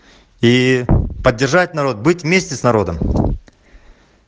и поддержать народ быть вместе с народом